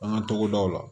An ka togodaw la